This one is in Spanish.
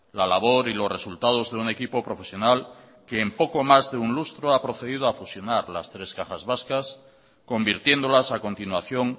la labor y los resultados de un equipo profesional que en poco más de un lustro ha procedido a fusionar las tres cajas vascas convirtiéndolas a continuación